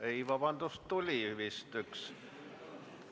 Ei, vabandust, tuli vist üks küsimus.